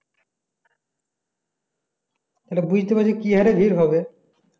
এটা বুঝতে পারছিস কি হারে ভিড় হবে